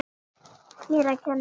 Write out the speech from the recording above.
Mér að kenna!